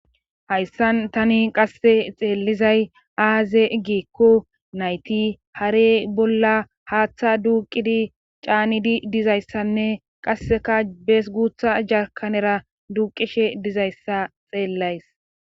hayssan tani qasse xeellizay aaze igikko nayti hare bolla haaththa duuqidi caanidi dizayssanne qasseka bees guutha jakanera duuqishe dizayssa xeellays